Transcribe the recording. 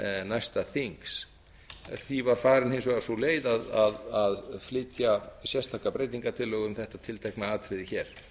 næsta þings í því var farin hins vegar sú leið að flytja sérstaka breytingartillögu um þetta tiltekna atriði hér